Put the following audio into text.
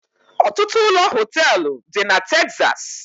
Ọtụtụ ụlọ họteelu dị na Texas